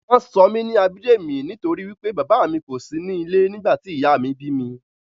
Wọ́n sọ mí ní Abidemi nítorí wí pé bàbá mi kòsí ní ilé nígbà tí ìyá mí bími